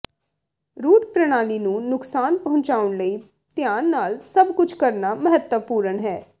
route ਪ੍ਰਣਾਲੀ ਨੂੰ ਨੁਕਸਾਨ ਪਹੁੰਚਾਉਣ ਲਈ ਧਿਆਨ ਨਾਲ ਸਭ ਕੁਝ ਕਰਨਾ ਮਹੱਤਵਪੂਰਣ ਹੈ